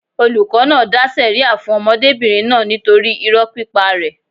Olùkọ́ náà dá sẹ̀ríà fún ọmọdébìnrin náà nítorí irọ́ pípa rẹ̀.